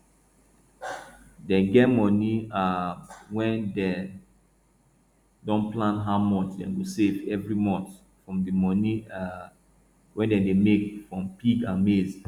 dem get money um wey dem don plan how much dem go save every month from di money um wey dem dey make from pig and maize